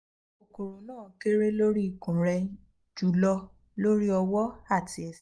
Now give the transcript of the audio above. kokoro na kere lori ikun re julo lori owo ati ese